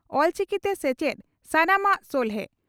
ᱚᱞᱪᱤᱠᱤᱛᱮ ᱥᱮᱪᱮᱫ ᱥᱟᱱᱟᱢᱟᱜ ᱥᱚᱞᱦᱮ